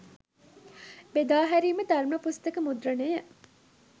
බෙදා හැරීම ධර්ම පුස්තක මුද්‍රණය